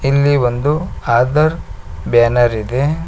ಇಲ್ಲಿ ಒಂದು ಆಧಾರ್ ಬ್ಯಾನರ್ ಇದೆ.